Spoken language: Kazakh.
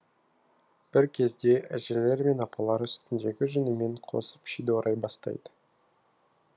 бір кезде әжелер мен апалар үстіндегі жүнімен қосып шиді орай бастайды